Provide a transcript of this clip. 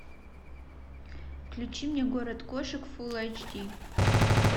включи мне город кошек фулл айч ди